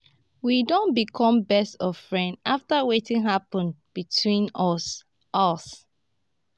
we don become best of friends after wetin happen between us us